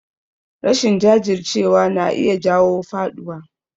Rashin jajircewa na iya jawo faɗuwa